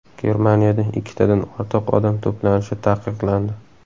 Germaniyada ikkitadan ortiq odam to‘planishi taqiqlandi.